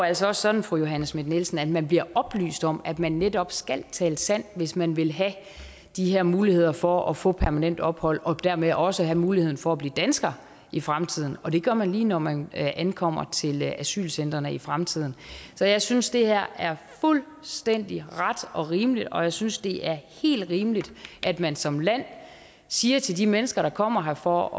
altså også sådan fru johanne schmidt nielsen at man bliver oplyst om at man netop skal tale sandt hvis man vil have de her muligheder for at få permanent ophold og dermed også have muligheden for at blive dansker i fremtiden og det gør man lige når man ankommer til asylcentrene i fremtiden så jeg synes det her er fuldstændig ret og rimeligt og jeg synes det er helt rimeligt at man som land siger til de mennesker der kommer her for